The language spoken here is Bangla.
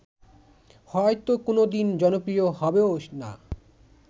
হয়ত কোনদিন জনপ্রিয় হবেও না